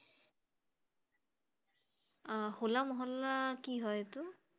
আহ হোলা মহল্লা কি হয় এইটো?